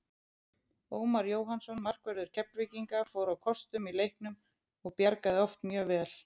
Ómar Jóhannsson markvörður Keflvíkinga fór á kostum í leiknum og bjargaði oft mjög vel.